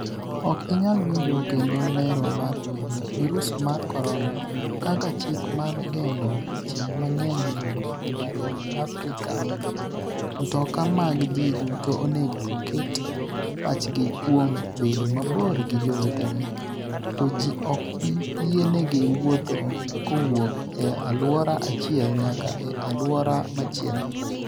Ok inyal winjo kendo Lero mar vidio, Virus mar Corona: Kaka chik mar geng’o ji mang’eny yudo obadho e Afrika Mtoka mag ji duto onego oket pachgi kuom bedo mabor gi jowetegi, to ji ok bi yienegi wuotho ​​kowuok e alwora achiel nyaka e alwora machielo.